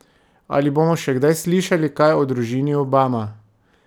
Ali bomo še kdaj slišali kaj o družini Obama?